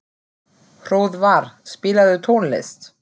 Hróðvar, spilaðu tónlist.